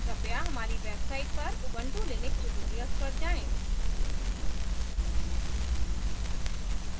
कृपया हमारी website पर ubuntu लिनक्स tutorials पर जाएँ